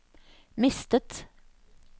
mistet